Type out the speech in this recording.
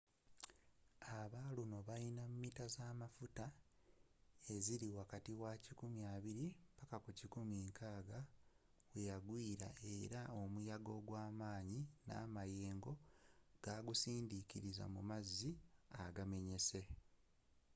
aba luno bayina mita zamafuta eziri wakati wa 120-160 weyagwiiera era omuyaga ogwamaanyi namayengo gwagusindikiriza mu mazzi agamenyese